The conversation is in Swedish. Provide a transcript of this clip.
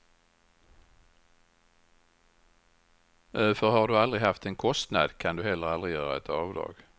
För har du aldrig haft en kostnad kan du heller aldrig göra ett avdrag.